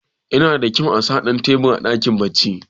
yana da kyau a sa Dan tebur a dakin bacci